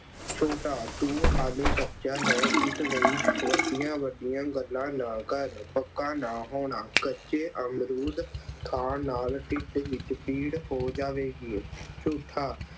ਛੋਟਾ, ਤੂੰ ਹਾਲੇ ਕੱਚਾ ਹੈ, ਇਸ ਲਈ ਵੱਡੀਆਂ-ਵੱਡੀਆਂ ਗੱਲਾਂ ਨਾ ਕਰ। ਪੱਕਾ ਨਾ ਹੋਣਾ, ਕੱਚੇ ਅਮਰੂਦ ਖਾਣ ਨਾਲ ਢਿੱਡ ਵਿੱਚ ਪੀੜ ਹੋ ਜਾਵੇਗੀ। ਝੂਠਾ